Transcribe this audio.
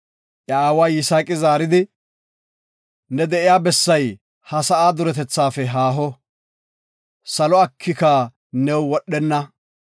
Iya aawa Yisaaqi zaaridi, “Ne de7iya bessay ha sa7a duretethafe haaho, salo akika new wodhenna.